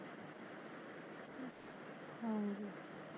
ਹੰਜੀ